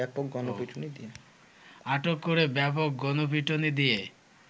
আটক করে ব্যাপক গণপিটুনি দিয়ে